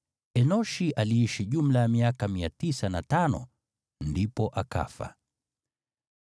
Enoshi aliishi jumla ya miaka 905, ndipo akafa.